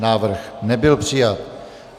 Návrh nebyl přijat.